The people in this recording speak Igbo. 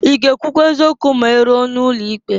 I ga-ekwụkwa eziokwu ma iruo n'ụlọ ikpe?